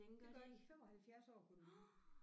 Det gør de 75 år kunne den blive